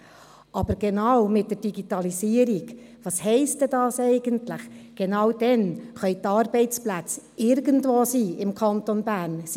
Aber genau mit der Digitalisierung – was heisst denn das eigentlich? –, genau damit können die Arbeitsplätze irgendwo im Kanton Bern sein.